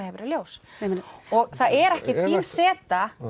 hefur í ljós það er ekki þín seta